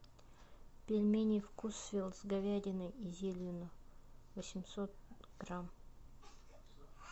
пельмени вкусвилл с говядиной и зеленью восемьсот грамм